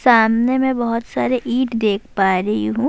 سامنے میں بھوت سارا ایٹ دیکھ پا رہی ہو۔